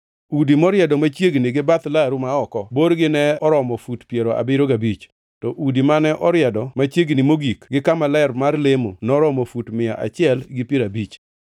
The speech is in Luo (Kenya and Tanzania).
Udi moriedo machiegni gi bath laru ma oko borgi ne oromo fut piero abiriyo gabich, to udi mane oriedo machiegni mogik gi kama ler mar lemo noromo fut mia achiel gi piero abich.